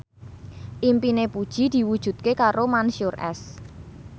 impine Puji diwujudke karo Mansyur S